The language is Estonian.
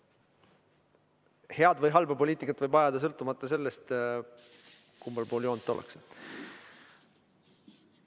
Head või halba poliitikat võib ajada sõltumata sellest, kummal pool joont ollakse.